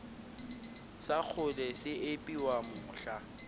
sa kgole se epiwa mohla